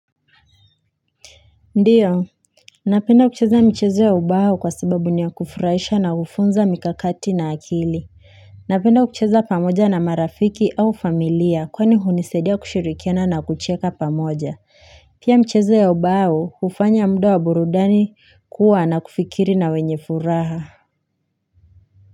Ndiyo, napenda kucheza michezo ya ubao kwa sababu niyakufuraisha na kufunza mikakati na akili. Napenda kucheza pamoja na marafiki au familia kwani hunisedia kushirikiana na kucheka pamoja. Pia mchezo ya ubao ufanya mudo wa burudani kuwa na kufikiri na wenye furaha.